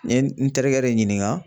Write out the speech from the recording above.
N ye n terikɛ de ɲininga